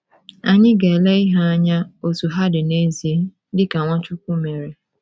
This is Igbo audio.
Anyị. ga-ele ihe anya otú ha dị n’ezie, dị ka Nwachukwu mere.